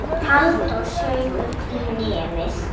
Halldór saug upp í nefið.